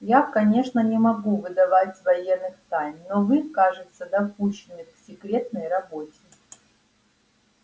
я конечно не могу выдавать военных тайн но вы кажется допущены к секретной работе